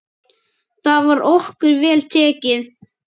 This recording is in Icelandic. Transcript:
Þar var okkur vel tekið.